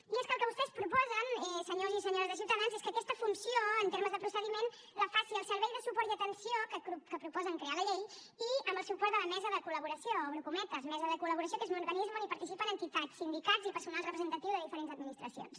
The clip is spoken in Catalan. i és que el que vostès proposen senyors i senyores de ciutadans és que aquesta funció en termes de procediment la faci el servei de suport i atenció que proposen crear a la llei i amb el suport de la mesa de col·laboració obro cometes mesa de col·laboració que és un organisme on participen entitats sindicats i personal representatiu de diferents administracions